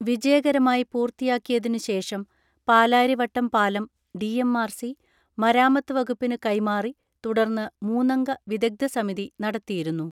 വിജയകരമായി പൂർത്തിയാക്കിതിനു ശേഷം പാലാരിവട്ടം പാലം ഡിഎംആർസി, മരാമത്തു വകുപ്പിനു കൈമാറി തുടർന്ന് മൂന്നംഗ വിദഗ്ധ സമിതി നടത്തിയിരുന്നു.